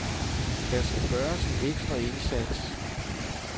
Der skal gøres en ekstra indsats.